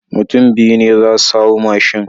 Mutun biyu ne zasu hau mashin